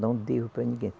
Não devo para ninguém.